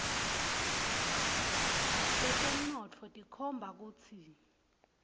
tetemnotfo tikhomba kutsi